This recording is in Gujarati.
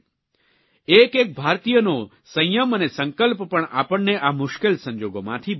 એક એક ભારતીયનો સંયમ અને સંકલ્પ પણ આપણને આ મુશ્કેલ સંજોગોમાંથી બહાર કાઢશે